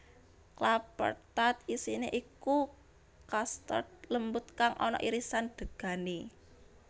Klappertaart isine iku custard lembut kang ana irisan degane